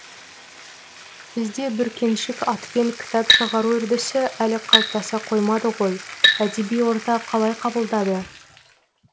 бізде бүркеншік атпен кітап шығару үрдісі әлі қалыптаса қоймады ғой әдеби орта қалай қабылдады